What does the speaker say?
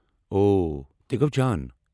او۔ تہ گوٚو جان۔